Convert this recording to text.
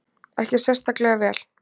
Ekkert sérstaklega vel.